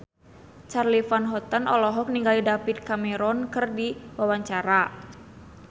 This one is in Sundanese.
Charly Van Houten olohok ningali David Cameron keur diwawancara